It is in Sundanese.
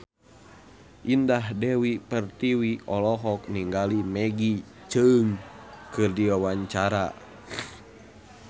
Indah Dewi Pertiwi olohok ningali Maggie Cheung keur diwawancara